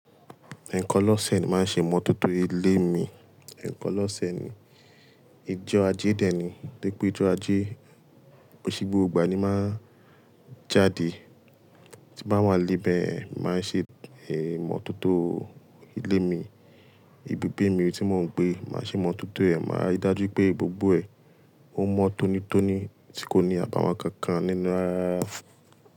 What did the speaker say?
Ẹ̀ẹ̀kan lọ́ósẹ̀ ni máa ń ṣe ìmọ̀tótó ilé mí. Ẹ̀ẹ̀kan lọ́ósẹ̀ ní. Íjọ ájé dèé ni. Lépè íjọ ajé, kòn ṣè gbógbó ígbá ní máa n jáde. Tí bá wà nílé bẹ̀yèn, mó màá ṣe ìmọ̀tótó ilé mi. Ibúgbé mí tí mò ń gbé, màá ṣe ìmọ̀tótó ẹ̀. Màá rí i dájú pé gbógbó ẹ̀ ò mọ tónítóní, tí kò ní àbàwọ́n kánkán nínú rárá.